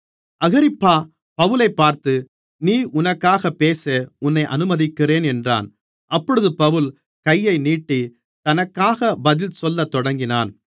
அகிரிப்பா பவுலைப் பார்த்து நீ உனக்காகப் பேச உன்னை அனுமதிக்கிறேன் என்றான் அப்பொழுது பவுல் கையை நீட்டி தனக்காக பதில் சொல்லத்தொடங்கினான்